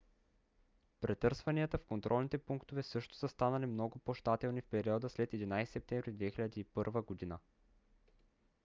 претърсванията в контролните пунктове също са станали много по-щателни в периода след 11 септември 2001 г